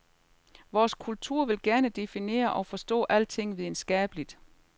Vores kultur vil gerne definere og forstå alting videnskabeligt.